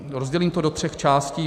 Rozdělím to do tří částí.